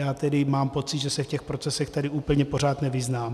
Já tedy mám pocit, že se v těch procesech tady úplně pořád nevyznám.